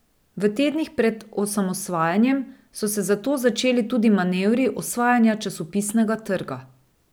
V tednih pred osamosvajanjem so se zato začeli tudi manevri osvajanja časopisnega trga.